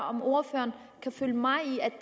om ordføreren kan følge mig i at